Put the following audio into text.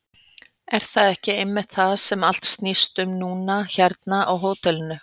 Er það ekki einmitt það sem allt snýst um núna hérna á hótelinu?